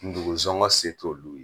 ndugun sɔngɔ se t'olu ye.